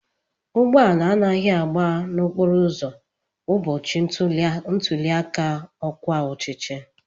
Ụgbọala anaghị agba na-okporo ụzọ ụbọchị ntuli aka ọkwa ọchịchị.